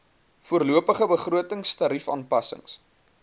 voorlopige begroting tariefaanpassings